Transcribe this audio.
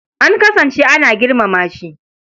An kasance ana girmama shi.